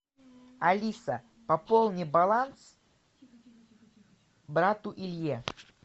алиса пополни баланс брату илье